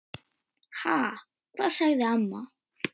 Ha, hvað? sagði amma.